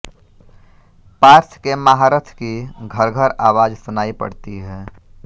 पार्थ के महारथ की घर्घर आवाज सुनायी पडती है